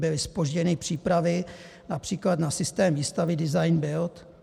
Byly zpožděny přípravy, například na systém výstavby design bild.